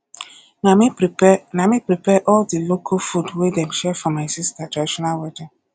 na me prepare na me prepare all di local food wey dem share for my sister traditional wedding